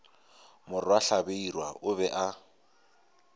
morwa hlabirwa o be a